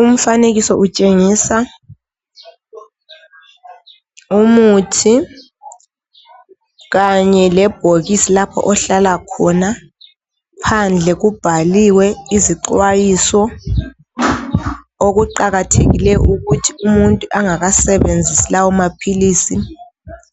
Umfanekiso utshengisa, umuthi kanye lebholksi lapho ohlala khona. Phandle kubhaliwe izixwayiso. Okuqakathekile ukuthi umuntu engakasebenzisi lawomaphilisi,